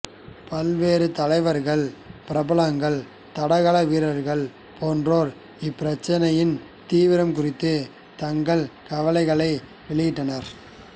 பல்வேறு தலைவர்கள் பிரபலங்கள் தடகள வீரர்கள் போன்றோர் இப்பிரச்சனையின் தீவிரம் குறித்து தங்கள் கவலைகளை வெளியிட்டனர்